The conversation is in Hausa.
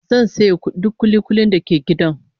Zan saye duk kuli-kulin da ke gidan